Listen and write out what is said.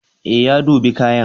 Ee, ya dubi kayan.